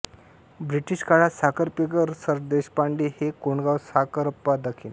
British काळात साखरपेकर सरदेशपांडे हे कोंडगाव साखरपा दखिन